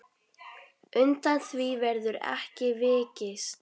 Undan því verður ekki vikist.